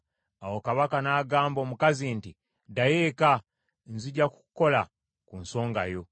Awo kabaka n’agamba omukazi nti, “Ddayo eka, nzija kukola ku nsonga yo.”